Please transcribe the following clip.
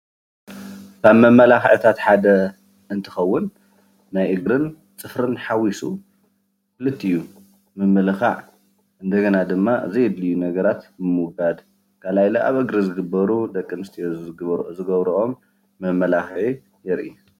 ካብ መመላክዕታት ሓደ እንትከውን ናይ እግርን ፅፍርን ሓዊሱ ክልቱኡ ብምምልካዕ እንደገና ድማ ዘይድልዩ ነገራት ምውጋድ ካልኣይ ድማ ክግብሩ ኣብ እግሪ ደቂ ኣነስትዮ ዝገብረኦ መመላክዒ የርኢ፡፡